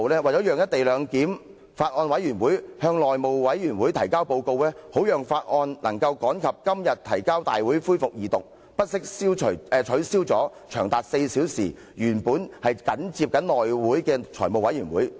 為了讓法案委員會向內務委員會提交報告，好讓《條例草案》能趕及今天提交大會恢復二讀辯論，原訂於上月25日緊接內務委員會會議舉行的4小時財務委員會會議遭到取消。